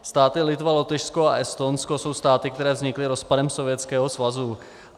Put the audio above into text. Státy Litva, Lotyšsko a Estonsko jsou státy, které vznikly rozpadem Sovětského svazu.